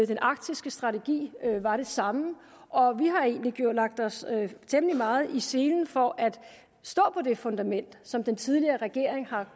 den arktiske strategi var det samme og vi har egentlig lagt os temmelig meget i selen for at stå på det fundament som den tidligere regering har